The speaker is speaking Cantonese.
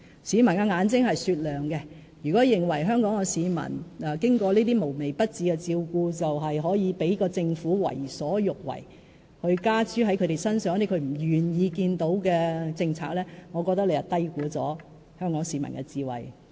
市民眼睛是雪亮的，如果郭醫生認為香港市民經過這些無微不至的照顧便可以讓政府為所欲為，讓政府把他們不願意看到的政策加諸市民身上，我覺得郭醫生你是低估了香港市民的智慧。